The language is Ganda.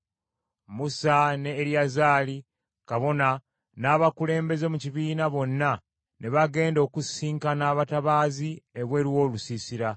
Musa ne Eriyazaali kabona n’abakulembeze mu kibiina bonna ne bagenda okusisinkana abatabaazi ebweru w’olusiisira.